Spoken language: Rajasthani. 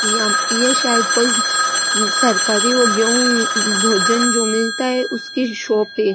यहां ये शायद कोई सरकारी गेहू भोजन जो मिलता है उसकी शॉप है।